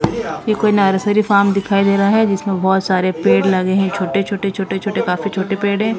ये कोई nursery farm दिखाई दे रहा है जिसमें बहोत सारे पेड़ लगे हैं छोटे छोटे छोटे काफी छोटे पेड़ हैं।